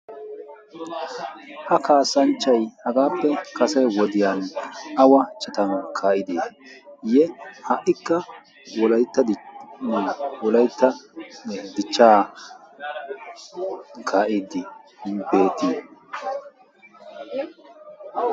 ha kaasanchchay hagaappe kase wodiyan awa chataa kaayidi ye ha''ikka wolaytta d wolayttan dichchaa kaa'iddii beetii